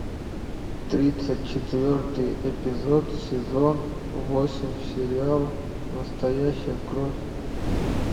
тридцать четвертый эпизод сезон восемь сериал настоящая кровь